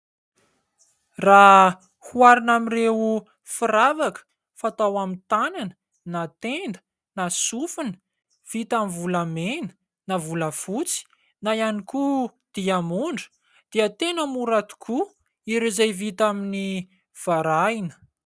Raha oharina amin'ireo firavaka fatao amin'ny tanana na tenda na sofina vita amin'ny volamena na volafotsy na ihany koa diamondra dia tena mora tokoa ireo izay vita amin'ny varahina.